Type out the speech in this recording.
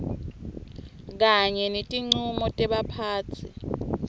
kanye netincumo tebaphatsi